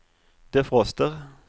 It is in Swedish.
defroster